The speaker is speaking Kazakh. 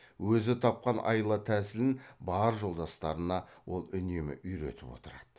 өзі тапқан айла тәсілін бар жолдастарына ол үнемі үйретіп отырады